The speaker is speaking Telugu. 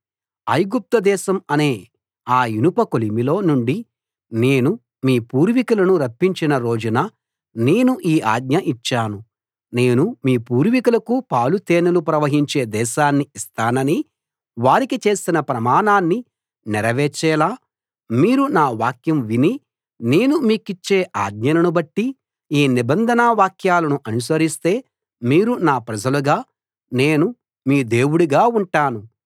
ఐగుప్తుదేశం అనే ఆ ఇనప కొలిమిలో నుండి నేను మీ పూర్వికులను రప్పించిన రోజున నేను ఈ ఆజ్ఞ ఇచ్చాను నేను మీ పూర్వికులకు పాలు తేనెలు ప్రవహించే దేశాన్ని ఇస్తానని వారికి చేసిన ప్రమాణాన్ని నెరవేర్చేలా మీరు నా వాక్యం విని నేను మీకిచ్చే ఆజ్ఞలను బట్టి ఈ నిబంధన వాక్యాలను అనుసరిస్తే మీరు నా ప్రజలుగా నేను మీ దేవుడుగా ఉంటాను